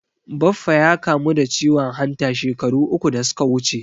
Baffa ya kamu da ciwon hanta shekaru uku da suka wuce.